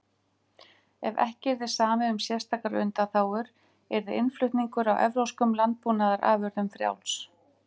Ef ekki yrði samið um sérstakar undanþágur yrði innflutningur á evrópskum landbúnaðarafurðum frjáls.